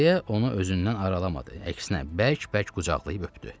Dayə onu özündən aralamadı, əksinə bərk-bərk qucaqlayıb öpdü.